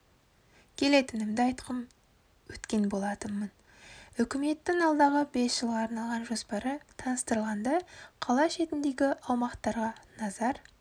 келетінімді айтқым өткен болатынмын үкіметтің алдағы бес жылға арналған жоспары таныстырылғанда қала шетіндегі аумақтарға назар